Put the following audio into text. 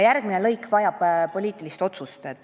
Järgmine lõik vajab poliitilist otsust.